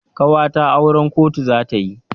Ƙawata auran kotu za ta yi.